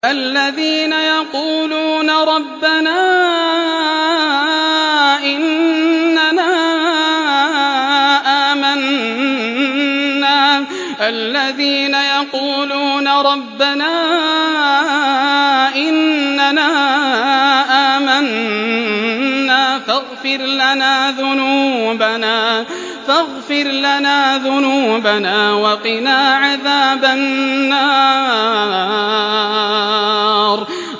الَّذِينَ يَقُولُونَ رَبَّنَا إِنَّنَا آمَنَّا فَاغْفِرْ لَنَا ذُنُوبَنَا وَقِنَا عَذَابَ النَّارِ